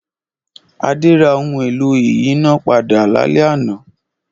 Adé ra ohun-èlò ìyínápadà lálẹ́ àná.